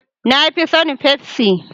Na fi son pepsi.